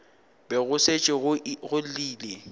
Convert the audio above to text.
be go šetše go llile